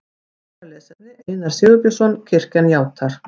Frekara lesefni Einar Sigurbjörnsson: Kirkjan játar.